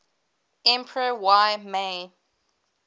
emperor y mei